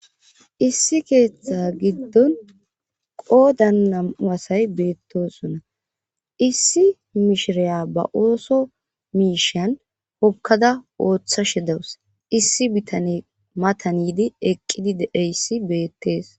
Issi keeththa giddon qoodannawasay beettosunna issi mishiraya ba ooso miishan hokkada ooththa she dawus issi bitane matanidi eqqidi deeyssi beettees